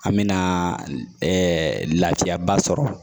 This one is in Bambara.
An mɛna lafiyaba sɔrɔ